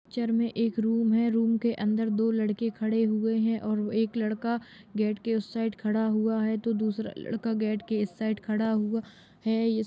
picture में एक room है रूम के अंदर दो लड़के खड़े हुए हैं और एक लड़का गेट के उस साइड खड़ा हुआ है तो दूसरा लड़का गेट के इस साइड खड़ा हुआ है इस -----